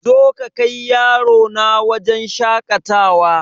Zo ka kai yarona wajen shakatawa